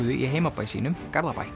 í heimabæ sínum Garðabæ